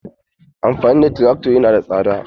Amfani da trakto yana da tsada.